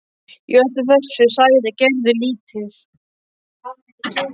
Í öllu þessu sagði Gerður lítið.